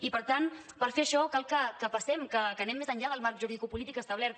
i per tant per fer això cal que passem que anem més enllà del marc juridicopolític establert